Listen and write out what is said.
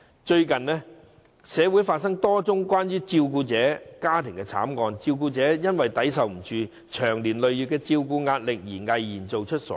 最近，社會發生了多宗涉及照顧者的家庭慘劇，照顧者因承受不了長年累月的照顧壓力，毅然做出傻事。